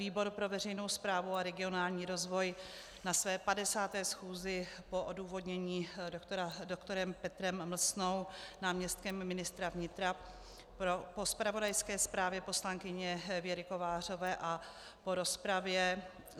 Výbor pro veřejnou správu a regionální rozvoj na své 50. schůzi po odůvodnění doktorem Petrem Mlsnou, náměstkem ministra vnitra, po zpravodajské zprávě poslankyně Věry Kovářové a po rozpravě